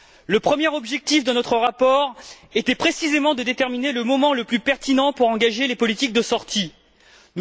Le premier objectif de notre rapport était précisément de déterminer le moment le plus pertinent pour engager les politiques de sortie de crise.